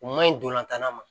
U ma ɲi dolantan na ma